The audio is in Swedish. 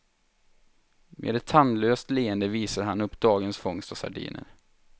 Med ett tandlöst leende visar han upp dagens fångst av sardiner.